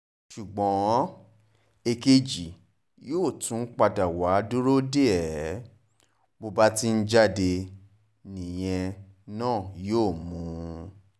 ṣùgbọ́n èkejì yóò tún padà wàá dúró dè é bó bá ti ń jáde nìyẹn náà yóò mú un